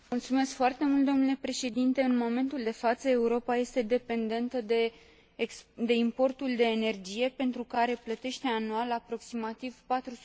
În momentul de față, Europa este dependentă de importul de energie, pentru care plătește anual aproximativ 400 de miliarde de euro.